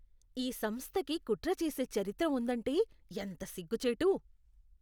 ఈ సంస్థకి కుట్ర చేసే చరిత్ర ఉందంటే ఎంత సిగ్గుచేటు!